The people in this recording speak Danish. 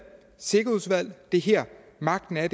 sikkerhedsudvalg det er her magten er